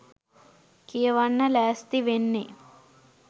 කියවන්න ලෑස්ති වෙන්නෙ